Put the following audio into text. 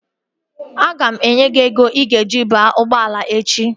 Aga m enye gị ego i ga-eji banye ụgbọala echi